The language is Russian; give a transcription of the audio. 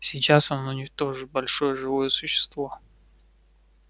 сейчас он уничтожит большое живое существо